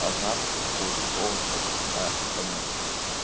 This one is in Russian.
азарт такого типа о сейчас да конечно